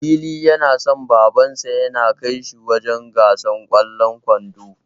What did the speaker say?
Lili yana so Babansa ya kai shi wajen gasar ƙwallon ƙwando.